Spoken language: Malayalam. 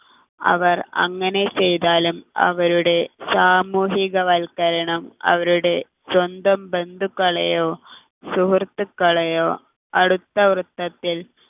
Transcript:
അവർ അങ്ങനെ ചെയ്താലും അവരുടെ സാമൂഹികവൽക്കരണം അവരുടെ സ്വന്തം ബന്ധുക്കളെയോ സുഹൃത്തുക്കളെയോ അടുത്ത വൃത്തത്തിൽ